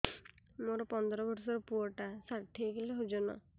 ମୋର ପନ୍ଦର ଵର୍ଷର ପୁଅ ଟା ଷାଠିଏ କିଲୋ ଅଜନ